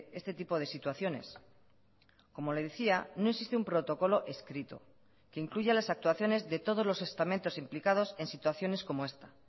este tipo de situaciones como le decía no existe un protocolo escrito que incluya las actuaciones de todos los estamentos implicados en situaciones como esta